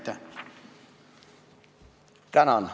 Tänan!